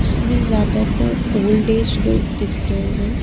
इसमें ज्यादातर old age लोग दिख रहे हैं।